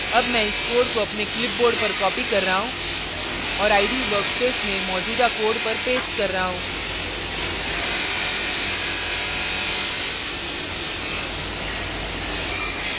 अब मैं इस code को अपने clipboard पर कॉपी कर रहा हूँ और ide workspace में मौजूदा code पर पेस्ट कर रहा हूँ